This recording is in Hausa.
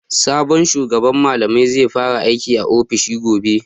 Sabon shugaban malamai zai fara aiki a ofis gobe.